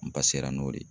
N ba sera n'o de ye